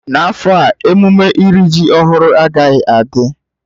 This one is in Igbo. N'afọ a emume iri ji ọhụrụ agaghị adị.